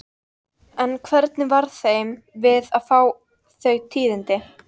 En hvernig varð þeim við að fá þau tíðindi?